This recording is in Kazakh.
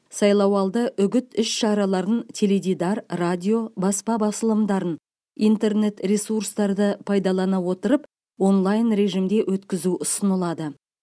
сайлау алды үгіт іс шараларын теледидар радио баспа басылымдарын интернет ресурстарды пайдалана отырып онлайн режимде өткізу ұсынылады